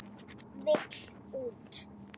Vill út.